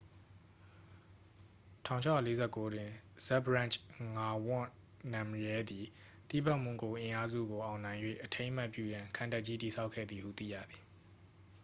1649တွင် ဇတ်ဘ်ဒရန့်ဂျ် ငါဝန့် နမ်ရဲသည် တိဘက်မွန်ဂို အင်အားစုကို အောင်နိုင်၍ အထိမ်းအမှတ်ပြုရန် ခံတပ်ကြီး တည်ဆောက်ခဲ့သည်ဟု သိရသည်